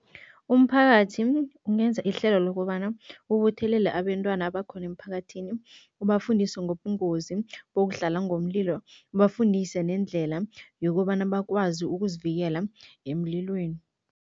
Umphakathi ungenza ihlelo lokobana ubuthelele abentwana abakhona emphakathini, ubafundise ngobungozi bokudlala ngomlilo, ubafundise nendlela yokobana bakwazi ukuzivikela emlilweni.